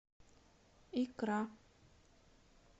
икра